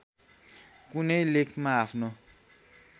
कुनै लेखमा आफ्नो